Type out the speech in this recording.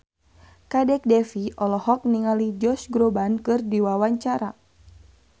Kadek Devi olohok ningali Josh Groban keur diwawancara